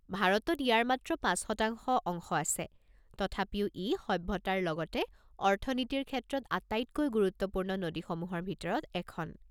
ভাৰতত ইয়াৰ মাত্ৰ পাঁচ শতাংশ অংশ আছে, তথাপিও ই সভ্যতাৰ লগতে অৰ্থনীতিৰ ক্ষেত্ৰত আটাইতকৈ গুৰুত্বপূৰ্ণ নদীসমূহৰ ভিতৰত এখন।